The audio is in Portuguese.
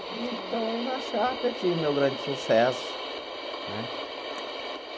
Então aí na Sharp, eu tive meu grande sucesso né.